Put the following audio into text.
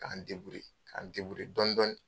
K'an , k'an dɔndɔni